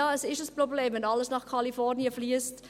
Ja, es ist ein Problem, wenn alles nach Kalifornien fliesst.